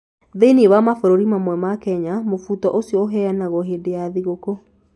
Thĩinĩ wa mabũrũri mamwe ma Kenya, mũbuto ũcio ũheanagwo hĩndĩ ya thigũkũ.